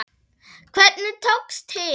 Hvernig tókst til?